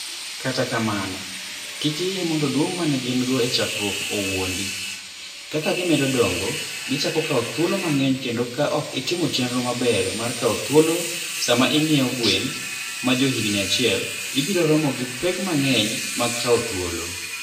Kata kamano, kik iyie mondo duong' ma ne gin - go e chakruok owuondi; kaka gimedo dongo, gichako kawo thuolo mang'eny kendo ka ok itimo chenro maber mar kawo thuolo sama ing'iewo gwen ma johigini achiel, ibiro romo gi pek mang'eny mag kawo thuolo.